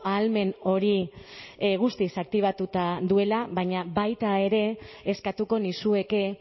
ahalmen hori guztiz aktibatuta duela baina baita ere eskatuko nizueke